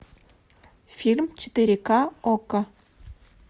фильм четыре ка окко